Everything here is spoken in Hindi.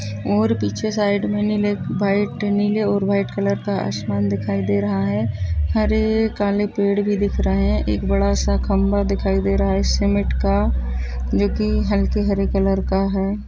और पीछे साइड में नीले वाइट नीले और वाइट कलर का आसमान दिखाई दे रहा हैं। हरे काले पेड़ भी दिख रहा हैं ।एक बड़ा सा खम्बा दिखाई दे रहा हैं सीमेंट का जोकि हलके हरे कलर का हैं।